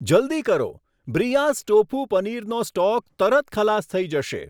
જલદી કરો, બ્રીયાસ ટોફુ પનીરનો સ્ટોક તરત ખલાસ થઈ જશે.